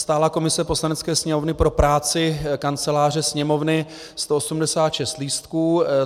Stálá komise Poslanecké sněmovny pro práci Kanceláře Sněmovny, 186 lístků.